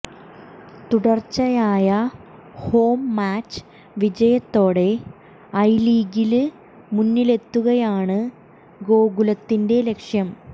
തുടര്ച്ചയായ home match വിജയത്തോടെ I ലീഗില് മുന്നിലെത്തുകയാണ് ഗോകുലത്തിന്റെ ലക്ഷ്യം